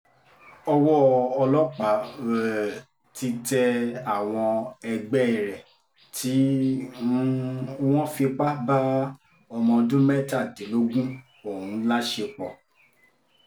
owó ọlọ́pàá um ti tẹ àwọn ẹgbẹ́ rẹ̀ tí um wọ́n fipá bá ọmọọdún mẹ́tàdínlógún ọ̀hún láṣepọ̀